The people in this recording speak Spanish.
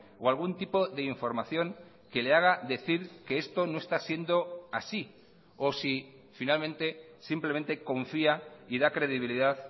o algún tipo de información que le haga decir que esto no está siendo así o si finalmente simplemente confía y da credibilidad